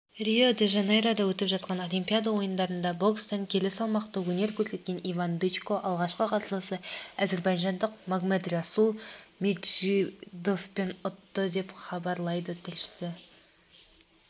рио-де-жанейрода өтіп жатқан олимпиада ойындарында бокстан келі салмақта өнер көрсеткен иван дычко алғашқы қарсыласы әзербайжандық магомедрасул меджидовпен ұтты деп хабарлайды тілшісі